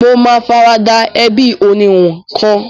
Mo ma farada ẹbí oníhun kan